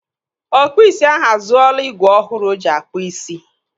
Ọkpụ isi ahụ azụọla igwe ọhụrụ o ji akpụ isi.